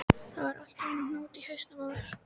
Það var allt í einum hnút í hausnum á mér.